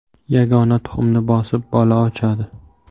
Yagona tuxumni bosib, bola ochadi.